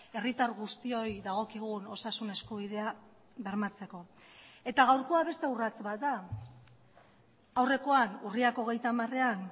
herritar guztioi dagokigun osasun eskubidea bermatzeko eta gaurkoa beste urrats bat da aurrekoan urriak hogeita hamarean